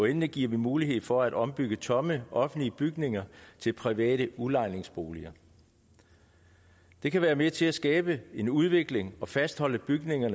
endelig giver vi mulighed for at ombygge tomme offentlige bygninger til private udlejningsboliger det kan være med til at skabe en udvikling og fastholde bygninger